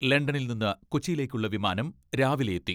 ലണ്ടനിൽ നിന്ന് കൊച്ചിയിലേക്കുള്ള വിമാനം രാവിലെ എത്തി.